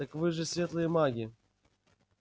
так вы же светлые маги